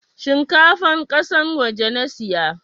Shinkafan kasan waje nasiya